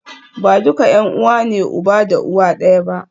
Ba duka ’yan’uwa ne uba da uwa ɗaya ba.